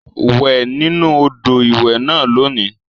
Wẹ̀ nínú odò ìwẹ̀ náà lónìí